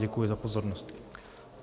Děkuji za pozornost.